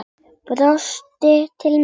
Brostir til mín.